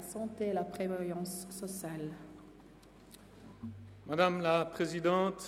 Somit hat Herr Regierungsrat Schnegg das Wort.